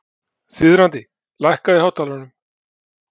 Þiðrandi, lækkaðu í hátalaranum.